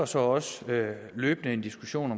så også løbende en diskussion